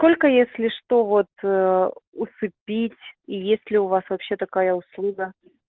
только если что вот усыпить и если у вас вообще такая услуга